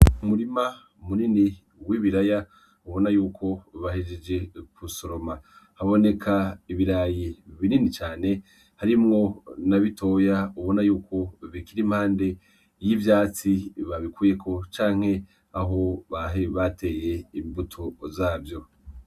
Umurima munini w'ibiraya ubonayuko bahejeje gusoroma. Haboneka ibirayi binini cane harimwo nabitoya ubona yuko bikirimpande y'ivyatsi babikuyeko, canke Aho bari bateye imbuto zavyo.